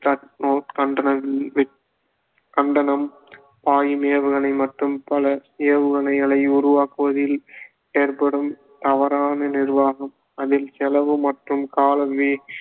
கண்டனம் பாயும் ஏவுகணை மற்றும் பல ஏவுகணைகளை உருவாக்குவதில் ஏற்படும் தவறான நிர்வாகம் அதில் செலவு மற்றும் கால